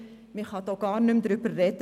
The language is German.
Man kann gar nicht mehr darüber sprechen.